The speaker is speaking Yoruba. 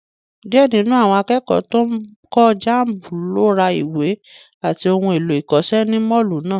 Díẹ̀ nínú àwọn akẹ́kọ̀ọ́ tó ń kọ jamb ló ra ìwé àti ohun èlò ìkọ́ṣẹ́ ní Mọ́ọ̀lù náà